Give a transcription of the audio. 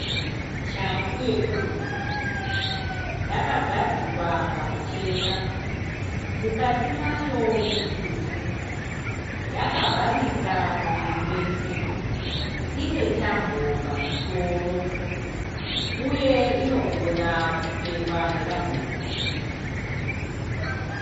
Shangu yekurudyi. Yakagadzikwa pamucheka. Mukati mayo mutsvuku. Yakavharika muviri wese. Ine tambo pamusoro uye inogona kupfekwa nevanhurume.